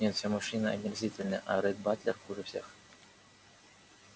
нет все мужчины омерзительны а ретт батлер хуже всех